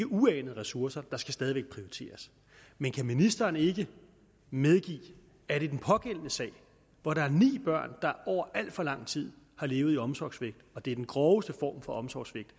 uanede ressourcer der skal stadig væk prioriteres men kan ministeren ikke medgive at i den pågældende sag hvor der er ni børn der over al for lang tid har levet i omsorgssvigt og det er den groveste form for omsorgssvigt